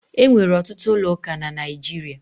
E nwere ọtụtụ ụlọ ụka na Naịjirịa.